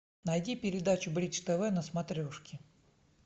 найди передачу бридж тв на смотрешке